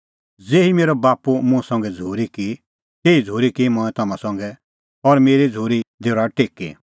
ज़ेही मेरअ बाप्पू मुंह संघै झ़ूरी की तेही झ़ूरी की मंऐं तम्हां संघै मेरी झ़ूरी दी रहा टेकी